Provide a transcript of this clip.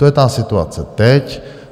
To je ta situace teď.